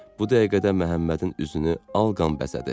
Bu dəqiqədə Məhəmmədin üzünü alqan bəzədi.